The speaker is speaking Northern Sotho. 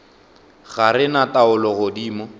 ga re na taolo godimo